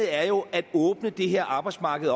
er jo at åbne det her arbejdsmarked